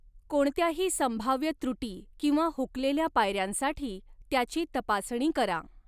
कोणत्याही संभाव्य त्रुटी किंवा हुकलेल्या पायऱ्यांसाठी त्याची तपासणी करा.